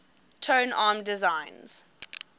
tone arm designs